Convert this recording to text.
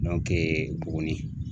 Buguni